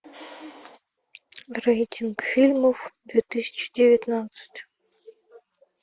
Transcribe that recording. рейтинг фильмов две тысячи девятнадцать